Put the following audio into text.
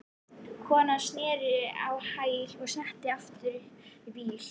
Konan snerist á hæli og settist aftur upp í bílinn.